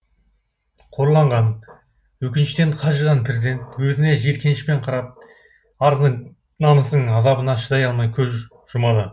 қорланған өкініштен қажыған президент өзіне жиіркенішпен қарап ардың намыстың азабына шыдай алмай көз жұмады